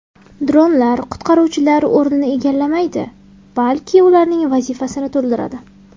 Dronlar qutqaruvchilar o‘rnini egallamaydi, balki ularning vazifasini to‘ldiradi.